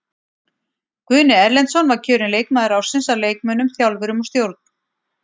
Guðni Erlendsson var kjörinn leikmaður ársins af leikmönnum, þjálfurum og stjórn.